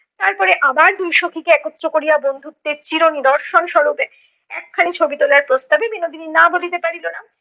তারপরে আবার দুই সখীকে একত্র করিয়া বন্ধুত্বের চির নিদর্শন স্বরূপ একখানি ছবি তোলার প্রস্তাবে বিনোদিনী না বলিতে পারিল না।